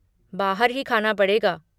बाहर ही खाना पड़ेगा।